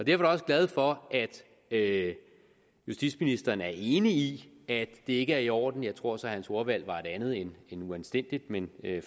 jeg også glad for at justitsministeren er enig i at det ikke er i orden jeg tror så at hans ordvalg var et andet end uanstændigt men